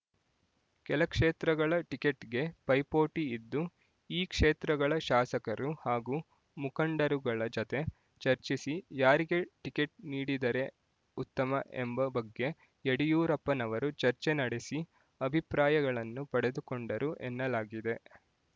ಕೆಲ ಕ್ಷೇತ್ರಗಳ ಟಿಕೆಟ್‌ಗೆ ಪೈಪೋಟಿ ಇದ್ದು ಈ ಕ್ಷೇತ್ರಗಳ ಶಾಸಕರು ಹಾಗೂ ಮುಖಂಡರುಗಳ ಜತೆ ಚರ್ಚಿಸಿ ಯಾರಿಗೆ ಟಿಕೆಟ್ ನೀಡಿದರೆ ಉತ್ತಮ ಎಂಬ ಬಗ್ಗೆ ಯಡಿಯೂರಪ್ಪನವರು ಚರ್ಚೆ ನಡೆಸಿ ಅಭಿಪ್ರಾಯಗಳನ್ನು ಪಡೆದುಕೊಂಡರು ಎನ್ನಲಾಗಿದೆ